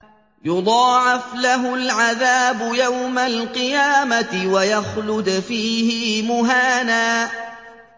يُضَاعَفْ لَهُ الْعَذَابُ يَوْمَ الْقِيَامَةِ وَيَخْلُدْ فِيهِ مُهَانًا